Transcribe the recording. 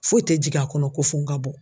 Foyi tɛ jigin a kɔnɔ ko fo n ka bɔ.